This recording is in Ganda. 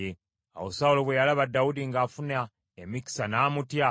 Awo Sawulo bwe yalaba Dawudi ng’afuna emikisa, n’amutya.